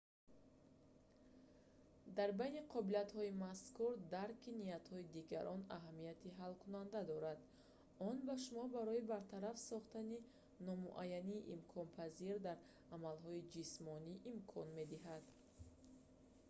дар байни қобилиятҳои мазкур дарки ниятҳои дигарон аҳамияти ҳалкунанда дорад он ба шумо барои бартараф сохтани номуайянии имконпазир дар амалҳои ҷисмонӣ имкон медиҳад